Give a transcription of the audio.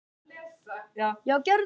Amma líka.